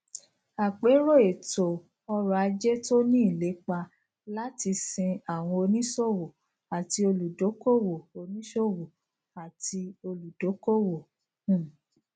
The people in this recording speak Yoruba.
àpérò ètò ọrọ ajé tó ní ìlépa láti sin àwọn oníṣòwò àti olùdókòwò oníṣòwò àti olùdókòwò um